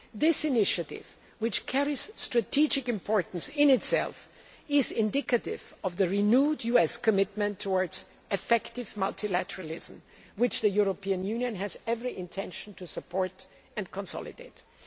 This initiative, which carries strategic importance in itself, is indicative of the renewed US commitment towards effective multilateralism, which the European Union has every intention of supporting and consolidating.